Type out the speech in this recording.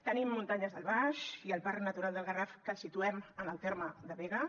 tenim muntanyes del baix i el parc natural del garraf que el situem en el terme de begues